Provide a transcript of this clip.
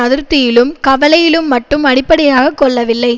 அதிருப்தியிலும் கவலையிலும் மட்டும் அடிப்படையை கொள்ளவில்லை